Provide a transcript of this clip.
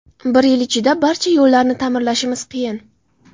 Bir yil ichida barcha yo‘llarni ta’mirlashimiz qiyin.